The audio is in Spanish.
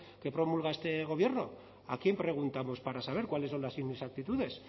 que promulga este gobierno a quién preguntamos para saber cuáles son las inexactitudes